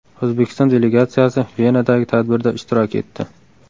O‘zbekiston delegatsiyasi Venadagi tadbirda ishtirok etdi.